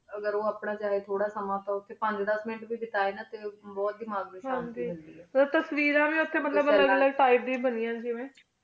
ਅਗ੍ਹਰ ਉਆਪ੍ਨਾ ਚਾਹੀ ਥੋਰਾ ਜੇਹਾ ਸਮਾਂ ਤੁਰ ਟੀ ਦਸ ਮਿੰਟ ਵੇ ਬੇਟੇ ਟੀ ਨਾ ਬੁਹਤ ਦਿਮਾਘ ਨੂੰ ਸ਼ਾਂਤੀ ਮਿਲਦੀ ਟੀ ਤਸ੍ਵੇਰਾਂ ਵੇ ਬੁਹਤ ਸੀੜੇ ਟੀ ਬਨਯਾਨ ਨੀ